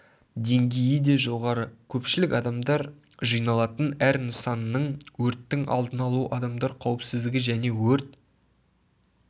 деңгейі де жоғары көпшілік адамдар жиналатын әр нысанның өрттің алдын алу адамдар қауіпсіздігі және өрт